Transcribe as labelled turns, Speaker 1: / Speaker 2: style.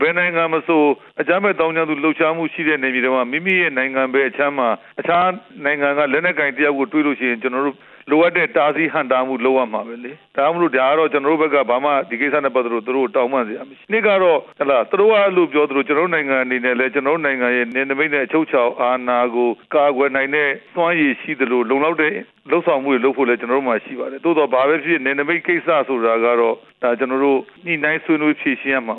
Speaker 1: ဘယ်နိုင်ငံမဆို အကြမ်းဖက် သောင်းကျန်းသူရှိတဲ့ နယ်မြေထဲမှာ မိမိရဲ့နိုင်ငံဘက်အခြမ်းမှာ တခြားနိုင်ငံက လက်နက်ကိုင်တစ်ယောက်ကို တွေ့လို့ရှိရင် လိုအပ်တဲ့ တားဆီးဟန့်တားမှု လုပ်ရမှာပဲလေ၊ ဒီကိစ္စနဲ့ပတ်သက်လို့ သူတို့ကို တောင်းပန်စရာမရှိဘူး၊ သူတို့က အဲလိုပြောသလို၊ ကျနော်တို့နိုင်ငံအနေနဲ့လည်း နယ်နိမိတ်နဲ့ အချုပ်အခြာအာဏာကို ကာကွယ်နိုင်တဲ့ စွမ်းရည်ရှိသလို လုံလောက်တဲ့ လုပ်ဆောင်မှုတွေလုပ်ဖို့လည်း ကျနော်တို့ဆီမှာရှိပါတယ်၊ သို့သော်ဘာပဲဖြစ်ဖြစ် နယ်နိမိတ်ကိစ္စဆိုတာကတော့ ကျနော်တို့ ညှိနှိုင်းဆွေးနွေး ဖြေရှင်းရမှာ